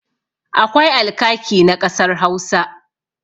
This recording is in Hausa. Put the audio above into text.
Akwai alkaki na ƙasar Hausa.